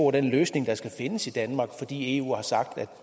og den løsning der skal findes i danmark fordi eu har sagt at